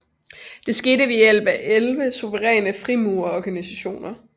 Det skete ved hjælp af elleve suveræne frimurerorganisationer